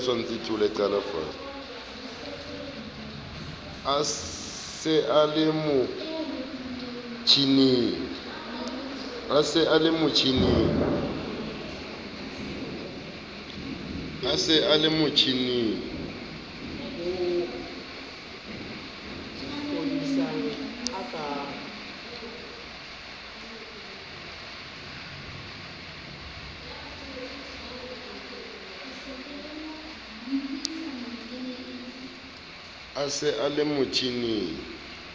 a se a le motjhining